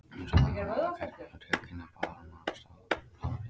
Ég sagði honum að það gæti komið tilkynning, og bað hann um hans ráð líka.